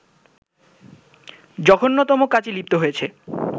জঘন্যতম কাজে লিপ্ত হয়েছে